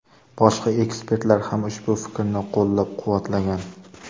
Boshqa ekspertlar ham ushbu fikrni qo‘llab-quvvatlagan.